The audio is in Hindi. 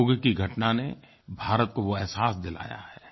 योग की घटना ने भारत को वो अहसास दिलाया है